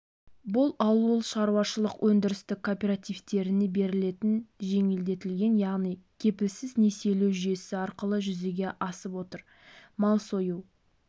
бұл ауылшаруашылық өндірістік кооперативтеріне берілетін жеңілдетілген яғни кепілсіз несиелеу жүйесі арқылы жүзеге асып отыр мал сою